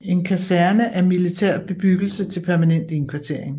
En kaserne er militær bebyggelse til permanent indkvartering